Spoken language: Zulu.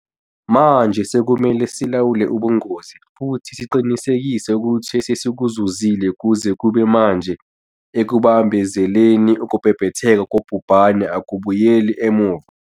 Manje sekumele silawule ubungozi futhi siqinisekise ukuthi esesikuzuzile kuze kube manje ekubambezeleni ukubhebhetheka kobhubhane akubuyeli emuva.